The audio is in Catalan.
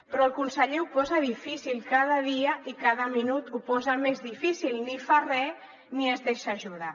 però el conseller ho posa difícil cada dia i cada minut ho posa més difícil ni fa re ni es deixa ajudar